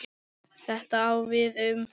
Þetta á við um